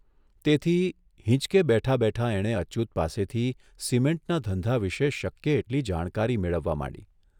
તેથી હીંચકે બેઠા બેઠા એણે અચ્યુત પાસેથી સિમેન્ટના ધંધા વિશે શક્ય એટલી જાણકારી મેળવવા માંડી.